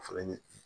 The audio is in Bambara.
O fɛnɛ ɲɛ